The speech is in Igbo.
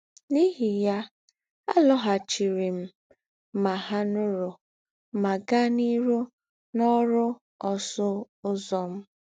N’íhì yà, àlòghàchìrì m Mahanoro mà gàá n’íhū n’ọ́rụ̀ ọ́sụ̀ Ǔzọ̄ m.